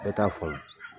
Bɛɛ t'a faamu